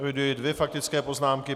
Eviduji dvě faktické poznámky.